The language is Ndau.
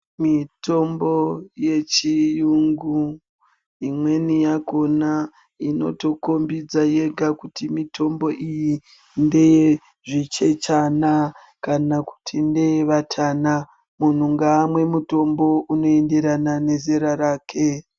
Mitombo yechiyungu imweni yakona inotokombidza yega kuti mitombo iyi ndeye zvichechana kana kuti ndeye vatana. Muntu ngaamwe mutombo unoenderana nezera rake.